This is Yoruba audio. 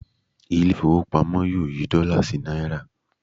Ilé ìfowópamọ́ le yí dọ́là sí náírà.